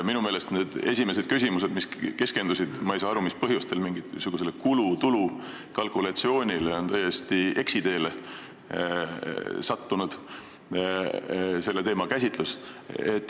Minu meelest olid need esimesed küsimused, mis keskendusid mingisugusele kulude ja tulude kalkulatsioonile, selle teema täiesti eksiteele sattunud käsitlus.